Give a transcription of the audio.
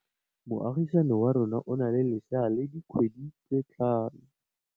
Moagisane wa rona o na le lesea la dikgwedi tse tlhano.